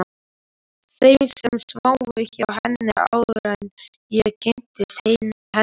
Þeim sem sváfu hjá henni, áður en ég kynntist henni.